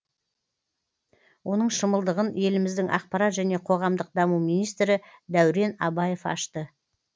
оның шымылдығын еліміздің ақпарат және қоғамдық даму министрі дәурен абаев ашты